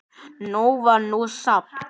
Nóg var nú samt.